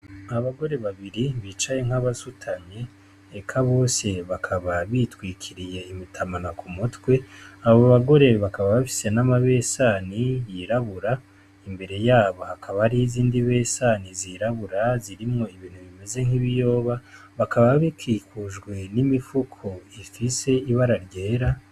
Abagore babiri bicaye nk'abasutamye eka bose bakaba bitwikiriye imitamana ku mutwe abo bagore bakaba bafise n'amabesani yirabura imbere yabo hakaba ari izindi besani zirabura zirimwo ibintu bimeze nk'ibiyoba bakaba bikikujwe n'imifuko stise ibara ryera.